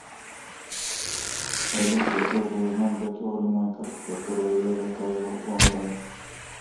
салют хотел бы узнать готова ли моя карта которую я заказывал онлайн